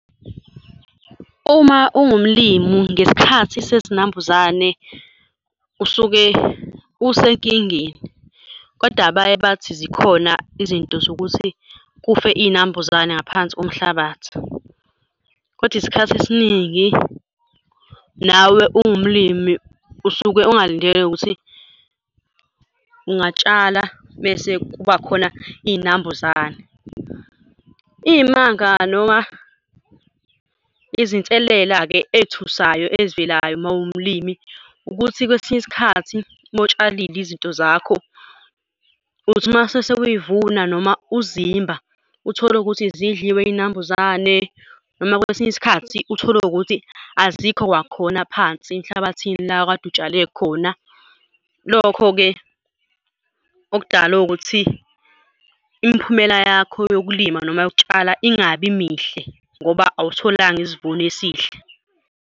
Uma ungumlimi ngesikhathi sezinambuzane usuke usenkingeni, kodwa baye bathi zikhona izinto zokuthi kufe iy'nambuzane ngaphansi komhlabathi, kodwa isikhathi esiningi nawe ungumlimi usuke ungalindele ukuthi ungatshala mese kuba khona iy'nambuzane. Iy'manga noma izinselela-ke ey'thusayo ezivelayo uma uwumlimi ukuthi kwesinye isikhathi uma utshalile izinto zakho, uthi mase sewayivuna noma uzimba, uthole ukuthi zidliwe iy'nambuzane noma kwesinye isikhathi uthole ukuthi azikho kwakhona phansi emhlabathini la okade utshale khona. Lokho-ke, okudala ukuthi imiphumela yakho yokulima noma yokutshala ingabi mihle ngoba awutholanga isivuno esihle.